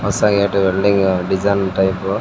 ಹೊಸ gate welding design type --